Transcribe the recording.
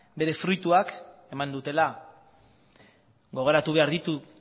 bere fruituak eman dutela gogoratu behar ditu